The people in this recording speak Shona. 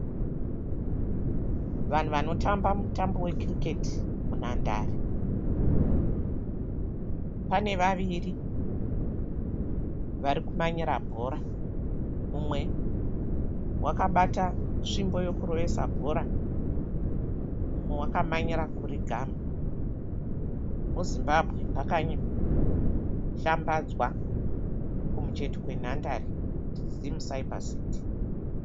Vanhu vanotamba mutambo wekiriketi munhandare. Pane vaviri vari kumanyira bhora. Mumwe wakabata svimbo yekurovesa bhora mumwe wakamanyira kuri gamha. MuZimbabwe, pakashambadzwa kumucheto kwenhandare kuti ZIMCYBERCITY.